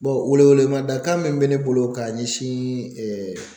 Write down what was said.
wele wele mada kan min bɛ ne bolo k'a ɲɛsin